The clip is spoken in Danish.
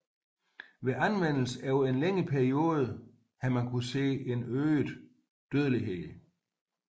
Ved anvendelse over en længere periode har kunnet ses en øget dødelighed